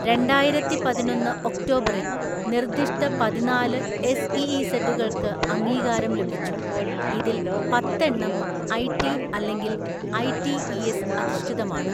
രണ്ടായിരത്തിപതിനൊന്ന് ഒക്ടോബറിൽ നിർദ്ദിഷ്ട പതിനാല് എസ്ഇഇസഡുകൾക്ക് അംഗീകാരം ലഭിച്ചു, ഇതിൽ പത്ത് എണ്ണം ഐടി അല്ലെങ്കിൽ ഐടിഇഎസ് അധിഷ്ഠിതമാണ്.